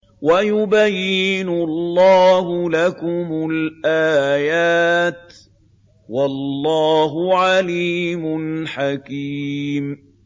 وَيُبَيِّنُ اللَّهُ لَكُمُ الْآيَاتِ ۚ وَاللَّهُ عَلِيمٌ حَكِيمٌ